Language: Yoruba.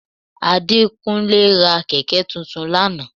Adékúnlé ra kẹ̀kẹ́ tuntun lánàá